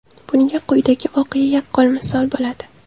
Bunga quyidagi voqea yaqqol misol bo‘ladi.